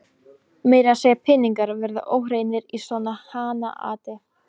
Meira að segja peningar verða óhreinir í svona hanaati.